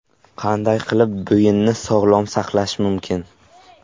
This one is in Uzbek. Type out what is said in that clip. Qanday qilib bo‘yinni sog‘lom saqlash mumkin?.